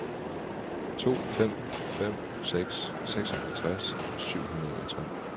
to fem fem seks seksoghalvtreds syv hundrede og tre